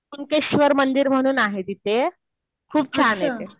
कुंटेंशवर मंदिर म्हणून आहे तिथे. खूप छान आहे ते.